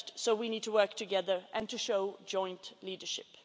We need to work together and to show joint leadership.